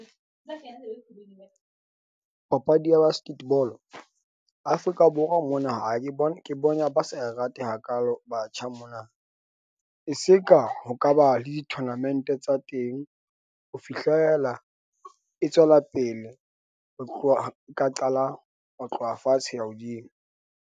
Papadi ya basketball Afrika Borwa mona ha ke bone ke bona, ba sa rate hakaalo batjha mona, e se ka ho ka ba le di-tournament-e tsa teng, ho fihlela e tswela pele ho tloha ka qala ho tloha fatshe ho ya hodimo.